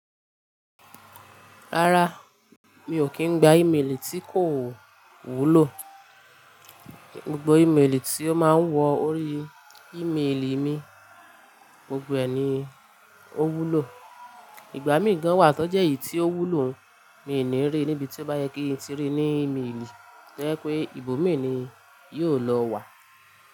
Rárá, mi ò kí ń gba ímeèlì tí kò wúlò. Gbogbo ímeèlì tí ó máa ń wọ ori ímeèlì mi, gbogbo ẹ̀ ni ó wúlò. Ìgbà mí gan wà tó jẹ́ n tí ó wúlò mi ò ní rí níbi tí ó bá yẹ kí n tí rí ní ímeèlì, to ye pé ibòmíì ni yóò lọ wà.